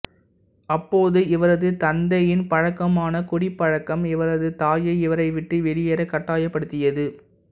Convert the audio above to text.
அப்போது இவரது தந்தையின் பழக்கமான குடிப்பழக்கம் இவரது தாயை இவரை விட்டு வெளியேற கட்டாயப்படுத்தியது